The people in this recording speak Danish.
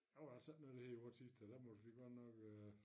Der var der altså ikke noget der hed i vor tid der måtte vi godt nok øh